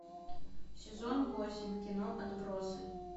сезон восемь кино отбросы